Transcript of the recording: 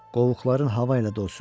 Qovuqların hava ilə dolsun.